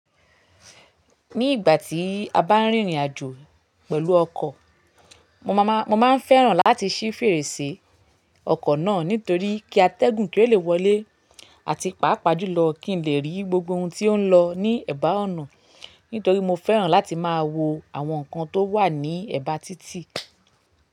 Ni ìgbà tí a bá rìnrìn àjò pẹ̀lú ọkọ̀, mo máa máa, mo máa ń fẹ́ràn láti ṣí fèrèsé ọkọ̀ náà. Nítorí kí atẹ́gùn kí o lè wọlé àti pàápàá jùlọ kí n lè rí gbogbo ohun tí ó ń lọ ní ẹ̀bá ọ̀nà. Nítorí mo fẹ́ràn láti máa wo àwọn nǹkan tó wà ní ẹ̀bá títì.